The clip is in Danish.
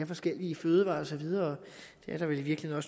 forskellige fødevarer og så videre det er der vel i virkeligheden